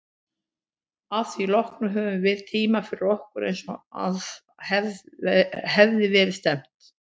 Að því loknu höfðum við tímann fyrir okkur, eins og að hafði verið stefnt.